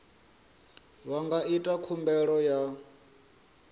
vha nga ita khumbelo ya